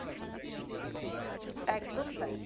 একদম তাই